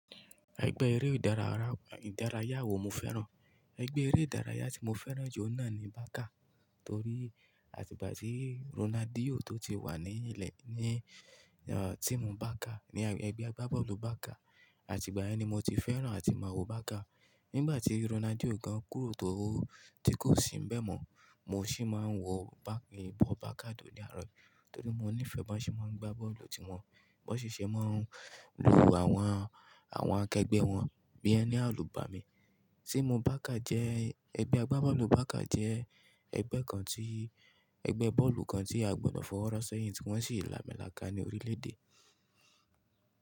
Ẹgbẹ́ eré ìdárayá wo mo fẹ́ràn? Ẹgbẹ́ eré ìdárayá tí mo fẹ́ràn jù náà ni Barca, torí àtìgbà tí Ronaldo tó ti wà ní ilẹ̀ ní, uh, Team Barca, ní ẹgbẹ́ agbábọ́ọ̀lù Barca, àtìgbà yen ni mo ti fẹ́ràn àti máa wo Barca. Nígbà tí Ronaldo gan kúrò tó tí kò sì ń bẹ́ mọ́, mo sì máa ń wo Barca, bọ́ọ̀lù Barca tó ní àárọ̀ yìí, torí mo nífẹ̀ẹ́ bí wọ́n ṣe máa ń gbá bọ́ọ̀lù, tí wọ́n, bí wọ́n ṣe ṣe máa ń lu àwọn, àwọn akẹgbẹ́ wọn, bí ẹni àlùbàá mi. Team Barca jẹ́, ẹgbẹ́ agbábọ́ọ̀lù Barca jẹ́ ẹgbẹ́ kan tí, ẹgbẹ́ bọ́ọ̀lù kan tí a gbọdọ̀ fọwọ́ rọ́ sẹ́yìn, tí wọ́n sì là milàká ní orílẹ̀ èdè.